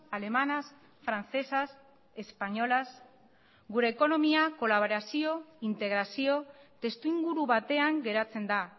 alemanas francesas españolas gure ekonomia kolaborazio integrazio testu inguru batean geratzen da